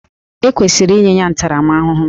E kwesịrị inye ya ntaramahụhụ